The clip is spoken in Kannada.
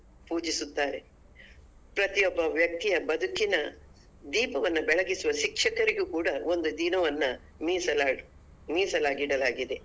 ಪೂಜಿಸುತ್ತಾರೆ ಪ್ರತಿಯೊಬ್ಬ ವ್ಯಕ್ತಿಯ ಬದುಕಿನ ದೀಪವನ್ನ ಬೆಳಗಿಸುವ ಶಿಕ್ಷಕರಿಗೂ ಕೂಡ ಒಂದು ದಿನವನ್ನ ಮೀಸಲಾಗಿ ಮೀಸಲಾಗಿಡಲಾಗಿದೆ.